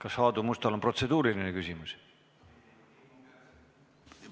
Kas Aadu Mustal on protseduuriline küsimus?